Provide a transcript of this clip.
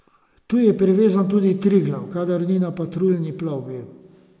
Tu je privezan tudi Triglav, kadar ni na patruljni plovbi.